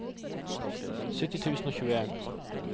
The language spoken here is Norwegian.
sytti tusen og tjueen